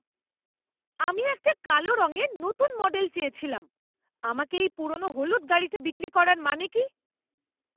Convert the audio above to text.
আমি একটা কালো রঙের নতুন মডেল চেয়েছিলাম। আমাকে এই পুরনো হলুদ গাড়িটা বিক্রি করার মানে কি?